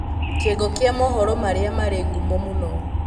kĩongo kĩa mohoro marĩa marĩ ngumo mũno